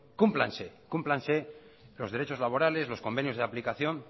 cúmplanse cúmplanse los derechos laborales los convenios de aplicación